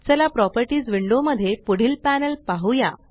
चला properties window मध्ये पुढील पॅनल पहुया